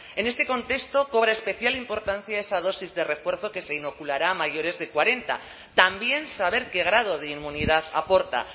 en este contexto cobra especial importancia esa dosis de refuerzo que se inoculará a mayores de cuarenta también saber qué grado de inmunidad aporta